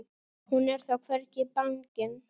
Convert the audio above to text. Hún er þó hvergi bangin.